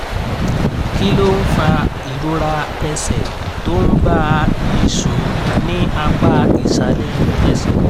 kí ló ń fa ìrora ẹsẹ̀ tó ń bá a nìṣó ní apá ìsàlẹ̀ ẹsẹ̀?